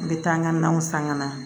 N bɛ taa n ka naw san ka na